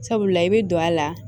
Sabula i bɛ don a la